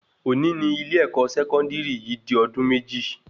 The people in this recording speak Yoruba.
Òní ní ilé-èkó sẹkọndiri yìí di ọdún méjì